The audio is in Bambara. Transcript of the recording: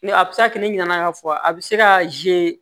Ni a bɛ se ka kɛ ne ɲina na ka fɔ a bɛ se ka